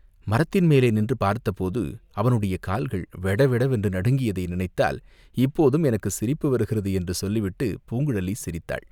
மரத்தின் மேலே நின்று பார்த்தபோது அவனுடைய கால்கள் வெட வெட வென்று நடுங்கியதை நினைத்தால் இப்போதும் எனக்குச் சிரிப்பு வருகிறது" என்று சொல்லி விட்டுப் பூங்குழலி சிரித்தாள்.